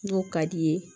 N'o ka d'i ye